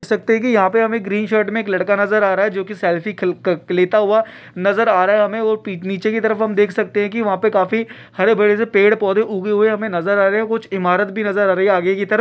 देख सकते हैं की यहाँ पे हमें ग्रीन शर्ट में एक लड़का नजर आ रहा है जो की सेल्फी ख -ख लेता हुआ नजर आ रहा है हमें और नीचे की तरफ हम देख सकते हैं की वहा पे काफी हरे-भरे से पेड़ पौधे उगे हुए हमें नज़र आ रहे हैं कुछ ईमारत भी नजर आ रही है आगे की तरफ --